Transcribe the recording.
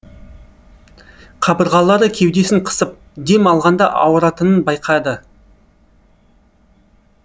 қабырғалары кеудесін қысып дем алғанда ауыратынын байқады